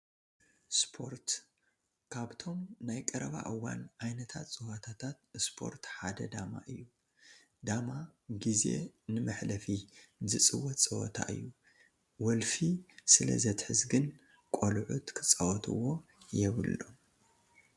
ስፖርት፡- ካብቶም ናይ ቀረባ እዋን ዓይነታት ፀወታታት ስፖርት ሓደ ዳማ እዩ፡፡ ዳማ ጊዜ ንመሕለፊ ዝፅወት ፀወታ እዩ፡፡ ወልፊ ስለዘትሕዝ ግን ቆልዑት ክፃወትዎ የብሎም፡፡